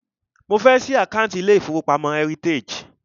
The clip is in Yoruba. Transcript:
Mo fẹ́ ṣí àkántì ilé ìfọwọ́pamo Heritage.